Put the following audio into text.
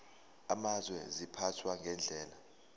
amazwe ziphathwa ngendlela